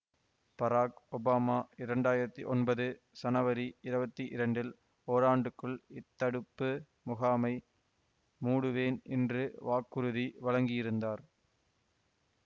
பராக் Obama இரண்டாயிரத்தி ஒன்பது சனவரி இருவத்தி இரண்டில் ஓராண்டுக்குள் இத்தடுப்பு முகாமை மூடுவேன் என்று வாக்குறுதி வழங்கியிருந்தார்